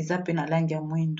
eza pe na langi ya moindo